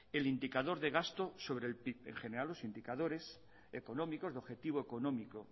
el indicador de gasto sobre el pib en general los indicadores económicos de objetivo económico